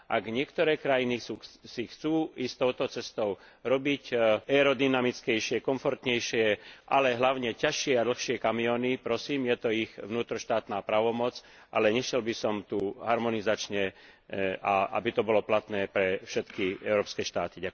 Ak niektoré krajiny chcú ísť touto cestou a robiť aerodynamickejšie, komfortnejšie, ale hlavne ťažšie a dlhšie kamióny, prosím, je to ich vnútroštátna právomoc, ale nešiel by som tu harmonizačne a aby to bolo platné pre všetky európske štáty.